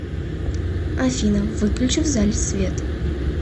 афина выключи в зале свет